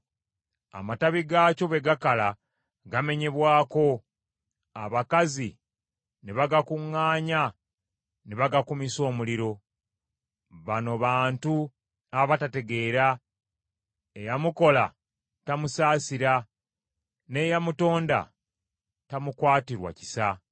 Amatabi gaakyo bwe gakala, gamenyebwako, abakazi ne bagakuŋŋaanya ne bagakumisa omuliro. Bano bantu abatategeera, eyamukola tamusaasira, n’eyamutonda tamukwatirwa kisa.